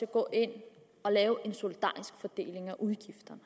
at gå ind og lave en solidarisk fordeling af udgifterne